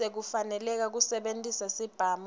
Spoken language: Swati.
sekufaneleka kusebentisa sibhamu